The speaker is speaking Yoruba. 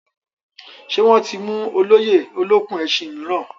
Ṣé wọ́n ti mú olóyè olókùn-ẹṣin mìíràn?